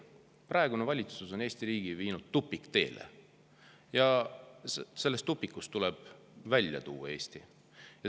Praegune valitsus on viinud Eesti riigi tupikteele ja Eesti tuleb sellest tupikust välja tuua.